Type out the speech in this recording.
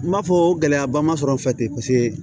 N b'a fɔ gɛlɛyaba ma sɔrɔ n fɛ paseke